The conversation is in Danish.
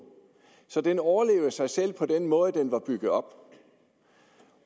så den overlevede sig selv på den måde den var bygget op